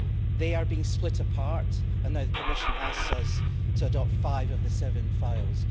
they are being split apart, and now the Commission asks us to adopt five of the seven files.